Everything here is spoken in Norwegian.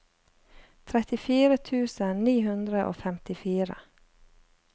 trettifire tusen ni hundre og femtifire